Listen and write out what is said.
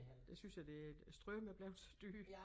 Det synes jeg det strøm er blevet så dyr